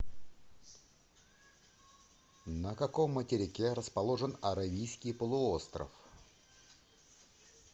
на каком материке расположен аравийский полуостров